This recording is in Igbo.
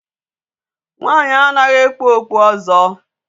Nwaanyị anaghị ekpu okpu ọzọ.